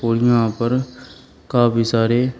और यहां पर काफी सारे--